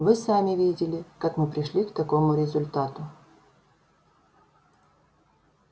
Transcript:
вы сами видели как мы пришли к такому результату